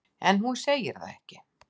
En hún segir það ekki.